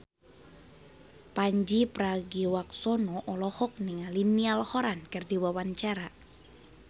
Pandji Pragiwaksono olohok ningali Niall Horran keur diwawancara